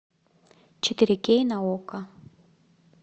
четыре кей на окко